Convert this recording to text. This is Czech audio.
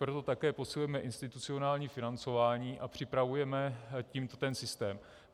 Proto také posilujeme institucionální financování a připravujeme tím ten systém.